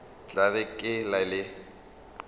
tla re ka le le